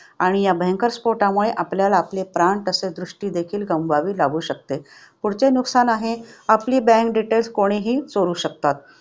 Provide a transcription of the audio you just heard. आणि या भयंकर स्फोटामुळे आपल्याला आपले प्राण तसेच दृष्टी देखील गमवावी लागू शकते. पुढचे नुकसान आहे आपली bank details कोणीही चोरू शकतात.